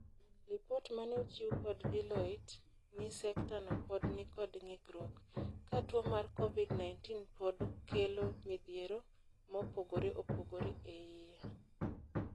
Lipot mane ochiw kod Deloitte ni sekta no pod nikod ng'ikruok. Ka tuo mar Covid-19 pod kelo midhiero mopogore opogre eie.